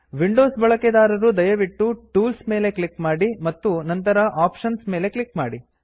Windows ಬಳಕೆದಾರರು ದಯವಿಟ್ಟು tools tools ಮೇಲೆ ಕ್ಲಿಕ್ ಮಾಡಿ ಮತ್ತು ನಂತರ ಆಪ್ಷನ್ಸ್ ಆಪ್ಶನ್ ಮೇಲೆ ಕ್ಲಿಕ್ ಮಾಡಿ